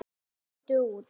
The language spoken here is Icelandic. Lindu út.